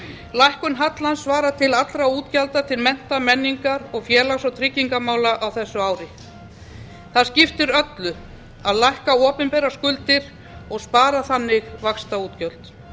lækkun hallans svarar til allra útgjalda til mennta menningar og félags og tryggingamála á þessu ári það skiptir öllu að lækka opinberar skuldir og spara þannig vaxtaútgjöld